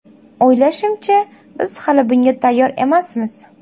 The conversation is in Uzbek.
O‘ylashimcha, biz hali bunga tayyor emasmiz.